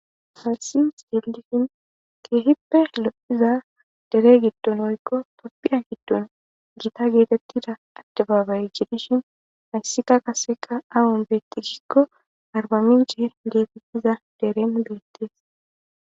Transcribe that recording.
harsis delihhin keehippe hlo7iza dere giddon oykko toppiya hiddon gita geetettida adde baabaye jidishin hayssika qaseqa awon beetti gikko arbami jeer geetettiza deren beettees